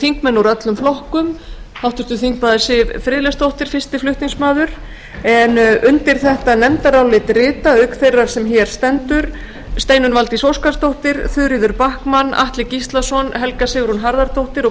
þingmenn úr öllum flokkum háttvirtur þingmaður siv friðleifsdóttir fyrsti flutningsmaður en undir þetta nefndarálit rita auk þeirrar sem hér stendur steinunn valdís óskarsdóttir þuríður backman atli gíslason helga sigrún harðardóttir og